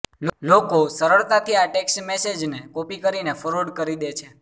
લોકો સરળતાથી આ ટેક્સ્ટ મેસેજને કોપી કરીને ફોરવર્ડ કરી દે છે